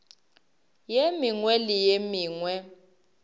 ye mengwe le ye mengwe